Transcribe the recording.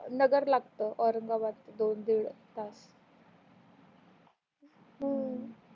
नगर लागत औरंगाबाद दोन दिड तास हु